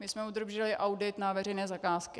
My jsme obdrželi audit na veřejné zakázky.